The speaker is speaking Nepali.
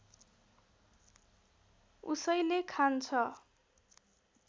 उसैले खान्छ